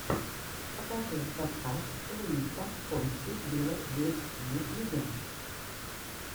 покажи подкаст луиса фонси вево в ютьюбе